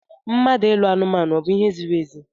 Mmadụ ịlụ anumanu ọ bu ihe ziri ezi?